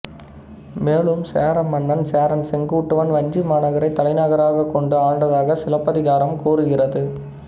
மேலும் சேர மன்னன் சேரன் செங்குட்டுவன் வஞ்சி மாநகரைத் தலைநகராகக் கொண்டு ஆண்டதாக சிலப்பதிகாரம் கூறுகிறது